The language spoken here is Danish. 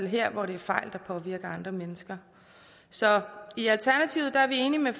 her hvor det er fejl der påvirker andre mennesker så i alternativet er vi enige med